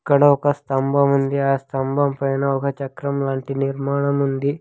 ఇక్కడ ఒక స్తంభం ఉంది ఆ స్తంభం పైన ఒక చక్రం లాంటి నిర్మాణం ఉంది.